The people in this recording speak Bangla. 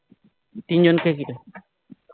তিন জনকে ঘিরে